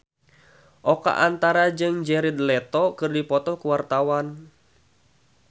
Oka Antara jeung Jared Leto keur dipoto ku wartawan